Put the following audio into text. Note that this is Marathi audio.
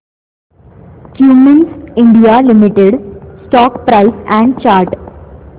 Cummins India limited stock price and chart